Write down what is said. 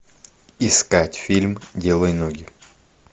искать фильм делай ноги